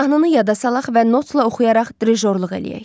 Mahnını yada salaq və notla oxuyaraq drijorluq eləyək.